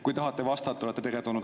Kui tahate vastata, olete teretulnud.